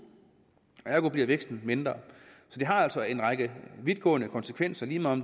ergo bliver væksten mindre så det har altså en række vidtgående konsekvenser lige meget